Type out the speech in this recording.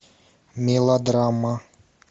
мелодрама